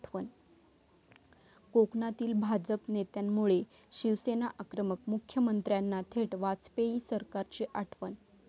कोकणातील भाजप नेत्यामुळे शिवसेना आक्रमक, मुख्यमंत्र्यांना थेट वाजपेयी सरकारची आठवण